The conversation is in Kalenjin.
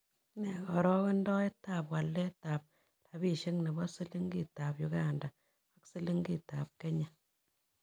Nee karogendoetap waletap rabishiek ne bo silingiitap uganda ak silingitap kenya